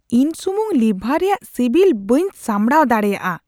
ᱤᱧ ᱥᱩᱢᱩᱝ ᱞᱤᱵᱷᱟᱨ ᱨᱮᱭᱟᱜ ᱥᱤᱵᱤᱞ ᱵᱟᱹᱧ ᱥᱟᱢᱵᱲᱟᱣ ᱫᱟᱲᱮᱭᱟᱜᱼᱟ ᱾